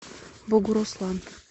бугуруслан